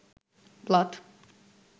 plot